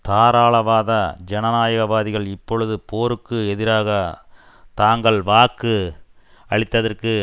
தாராளவாத ஜனநாயகவாதிகள் இப்பொழுது போருக்கு எதிராக தாங்கள் வாக்கு அளித்ததற்கு